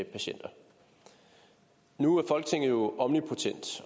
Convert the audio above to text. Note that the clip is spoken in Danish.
patienter nu er folketinget jo omnipotent